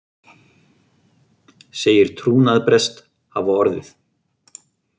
Segir trúnaðarbrest hafa orðið